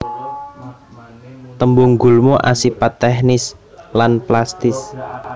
Tembung gulma asipat teknis lan plastis